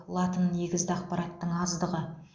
латын негізді ақпараттың аздығы